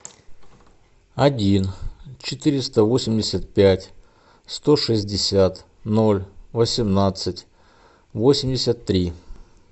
один четыреста восемьдесят пять сто шестьдесят ноль восемнадцать восемьдесят три